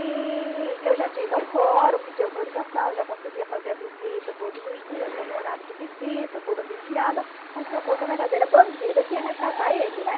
E eu já tinha ido ao fórum, pedi autorização, já conseguia fazer a visita todos os dias, só no horário de visita, toda vigiada, como se eu fosse a verdadeira bandida que ia resgatar ele, né?